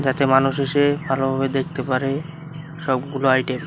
যাতে মানুষ এসে ভালোভাবে দেখতে পারে সবগুলো আইটেম ।